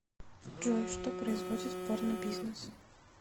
джой что производит порнобизнес